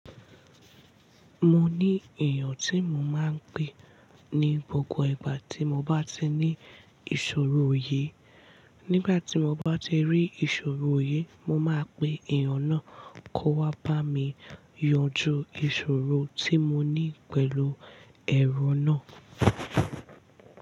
Mo ní èèyàn tí mo máa ń pè ní gbogbo ìgbà tí mo bá ti ní ìṣòro òye. Nígbà tí mo bá ti rí ìṣòro òye, mo máa pè èèyàn náà kó wá bá mi yanjú ìṣòro tí mo ní pẹ̀lú ẹ̀rọ náà.